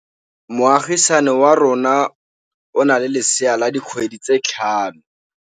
Moagisane wa rona o na le lesea la dikgwedi tse tlhano.